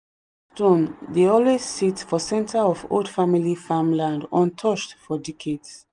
dey always sit for center of old family farmland untouched for decades.